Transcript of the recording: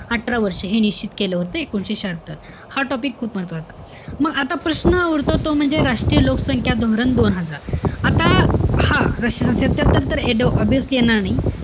अठरा वर्ष. हे निश्चित केलं होतं, एकोणीशे शहात्तर. हा topic खूप महत्वाचा. मग आता प्रश्न उरतो तो म्हणजे, राष्ट्रीय लोकसंख्या धोरण, दोन हजार. आता हा सत्यात्तर obviously येणार नाही.